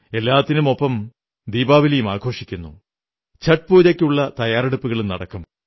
എല്ലാത്തിനുമൊപ്പം ദീപാവലിയും ആഘോഷിക്കുന്നു ഛഠ് പൂജയ്ക്കുള്ള തയ്യാറെടുപ്പുകളും നടക്കും